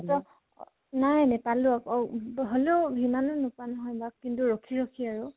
অতো অ নাই নাপালো আকৌ, উ হলেও এমানো নোপোৱা নহয় বাৰু কিন্তু ৰখি ৰখি আৰু